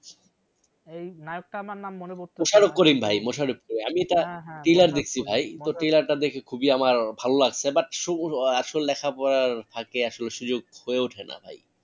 এই নায়ক টা আমার নাম মনে পড়তেসে না মোশারফ করিম ভাই মোশারফ করিম আমি এটা হ্যাঁ হ্যাঁ trailer দেখসি ভাই trailer টা দেখে খুবই আমার ভালো লাগসে but লেখা পড়ার ফাঁকে আসলে সুযোগ হয়ে উঠে না ভাই